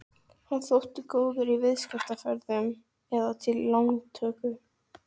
Hann þótti góður í viðskiptaferðum eða til lántöku.